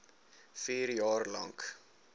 vier jaar lank